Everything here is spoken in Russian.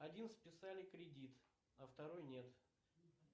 один списали кредит а второй нет